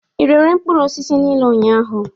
Ị rere mkpụrụ osisi niile ụnyahụ?